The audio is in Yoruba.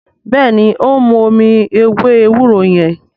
béèni o n mú omí ewé ewúro yen.